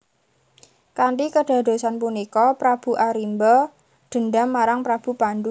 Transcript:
Kanthi kedadosan punika Prabu Arimba dendam marang Prabu Pandu